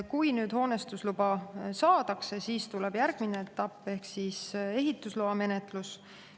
Kui nüüd hoonestusluba saadakse, siis tuleb järgmine etapp ehk ehitusloa menetlus.